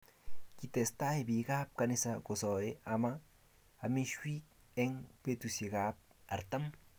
Kitestai biik ab kanisa kosae ama amishiw eng betusiek 40